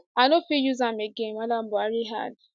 i no fit use am again madam buhari add